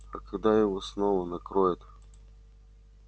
а когда его снова накроет